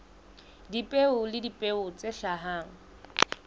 dipeo le dipeo tse hlahang